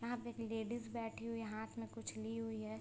यहाँ पे एक लेडीज बैठी हुई है हाथ में कुछ ली हुई है।